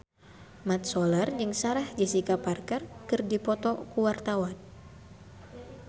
Mat Solar jeung Sarah Jessica Parker keur dipoto ku wartawan